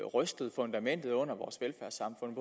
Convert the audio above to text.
rystede fundamentet under vores velfærdssamfund